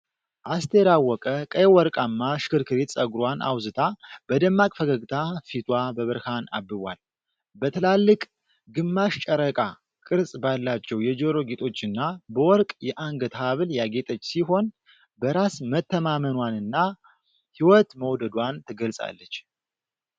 አስቴር አወቀ ቀይ ወርቃማ ሽክርክሪት ፀጉሯን አውዝታ በደማቅ ፈገግታ ፊቷ በብርሃን አብቧል። በትላልቅ ግማሽ ጨረቃ ቅርጽ ባላቸው የጆሮ ጌጦችና በወርቅ የአንገት ሐብል ያጌጠች ሲሆን፤ በራስ መተማመንዋንና ሕይወትን መውደዷን ትገልጻለች።